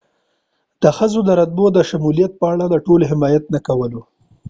د ښځو د رتبو د شمولیت په اړه ټولو حمایت نه کولو